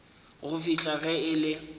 go fihla ge e le